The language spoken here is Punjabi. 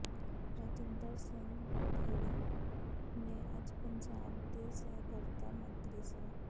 ਰਾਜਿੰਦਰ ਸਿੰਘ ਬਡਹੇੜੀ ਨੇ ਅੱਜ ਪੰਜਾਬ ਦੇ ਸਹਿਕਾਰਤਾ ਮੰਤਰੀ ਸ